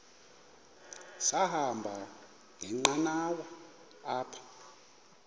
sahamba ngenqanawa apha